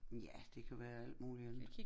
Ja det kan være alt muligt andet